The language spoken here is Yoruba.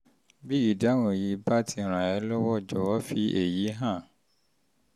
bí ìdáhùn yìí bá ti ràn ẹ́ lọ́wọ́ jọ̀wọ́ fi èyí hàn